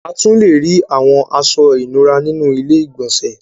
A tún lè rí àwọn aṣọ ìnura nínú ilé-ìgbọ̀nsẹ̀